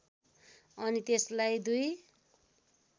अनि त्यसलाई दुई